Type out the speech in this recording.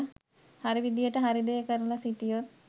හරි විදියට හරි දේ කරලා සිටියොත්